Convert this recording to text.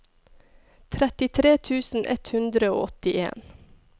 trettitre tusen ett hundre og åttien